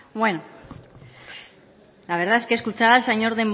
bai la verdad es que escuchar al señor